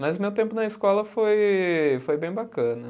Mas o meu tempo na escola foi foi bem bacana.